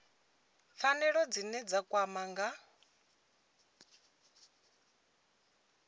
pfanelo dzine dza kwama nga